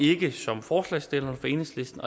ikke som forslagsstillerne fra enhedslisten